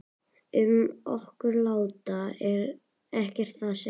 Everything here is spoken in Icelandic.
Um okkur lata er ekkert að segja.